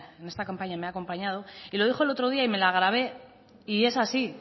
en esta campaña me ha acompañado y lo dijo el otro día y me la grave y es así